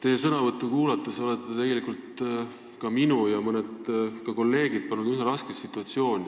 Oma sõnavõtuga olete tegelikult pannud minu ja mõned kolleegid üsna raskesse situatsiooni.